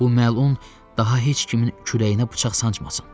Bu məlun daha heç kimin küləyinə bıçaq sancmasın.